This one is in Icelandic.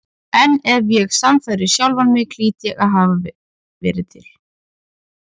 En ef ég sannfærði sjálfan mig hlýt ég að hafa verið til.